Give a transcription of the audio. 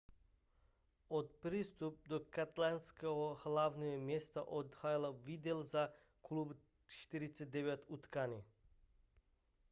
od přestupu do katalánského hlavního města odehrál vidal za klub 49 utkání